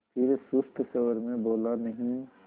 फिर सुस्त स्वर में बोला नहीं